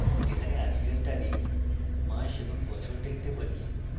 এখানে আজকের তারিখ মাস এবং বছর দেখতে পারি